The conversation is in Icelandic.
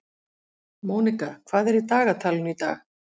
Mónika, hvað er í dagatalinu í dag?